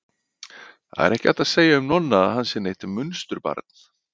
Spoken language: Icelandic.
Það er ekki hægt að segja um Nonna að hann sé neitt munsturbarn.